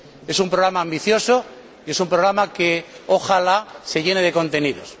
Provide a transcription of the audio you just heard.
Es un programa ambicioso y es un programa que ojalá se llene de contenidos.